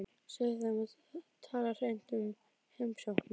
Segðu þeim að tala hreint út um heimsókn mína.